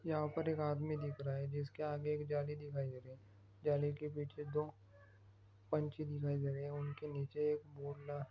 यहाँ पर एक आदमी दिख रहा है जिसके आगे एक जालि दिखाई दे रही है। जालि के पीछे दो पंछी दिखाई दे रहे हे। उनके नीचे एक --